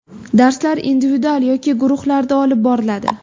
Darslar individual yoki guruhlarda olib boriladi.